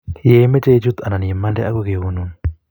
ye imeche ichut anan imande agoi keyonun